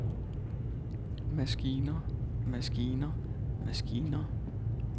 maskiner maskiner maskiner